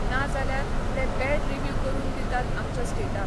ना जाल्यार ते बॅड रिव्यू करून दितात आमच्या स्टेटाक.